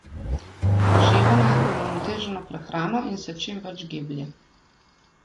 Uživa naj uravnoteženo prehrano in se čim več giblje.